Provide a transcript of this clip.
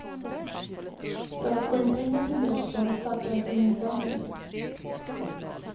För att få in pengar till dräkten startades en insamling.